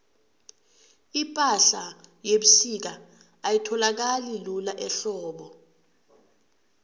ipahla yebusika ayitholakali lula ehlobo